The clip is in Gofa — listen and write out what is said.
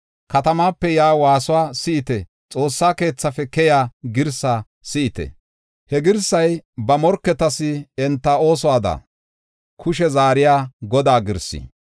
Katamaape yaa waasuwa si7ite; xoossa keethafe keyiya girsaa si7ite. He girsay ba morketas enta oosuwada kushe zaariya Godaa girsaa.